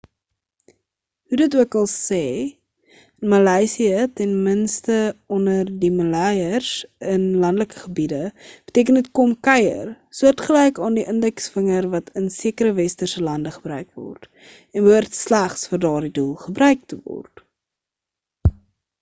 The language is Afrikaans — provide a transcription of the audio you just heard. hoe dit okal se in maleisië ten minste onder die maleiers in landelike gebiede beteken dit kom kuier soortgelyk aan die indeksvinger wat in sekere westerse lande gebruik word en behoort slegs vir daardie doel gebruik te word